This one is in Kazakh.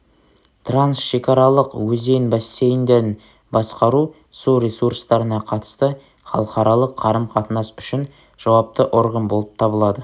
трансшекаралық өзен бассейндерін басқару су ресурстарына қатысты халықаралық қарым-қатынас үшін жауапты орган болып табылады